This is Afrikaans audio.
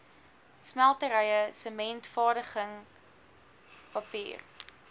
smelterye sementvervaardiging papier